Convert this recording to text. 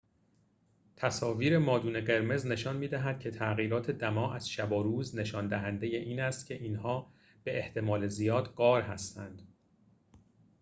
تصاویر مادون قرمز نشان می‌دهد که تغییرات دما از شب و روز نشان دهنده این است که اینها به احتمال زیاد غار هستند